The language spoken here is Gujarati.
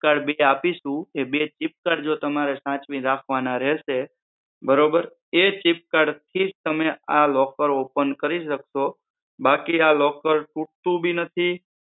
chip sir આપીશુ એ બે chip sir તમારે સાચવીને રાખવાના રહેશે બરોબર. એ chip sir થી જ તમે આ locker open કરી શકસો બાકી આ locker તૂટતું બી નથી